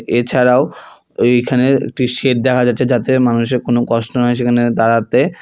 এছাড়াও ওইখানে একটি শেড দেখা যাচ্ছে যাতে মানুষের কোনো কষ্ট না হয় সেখানে দাঁড়াতে।